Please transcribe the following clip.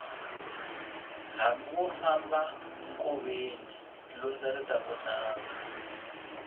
hambi wo famba nkoveni lundza ri ta vonaka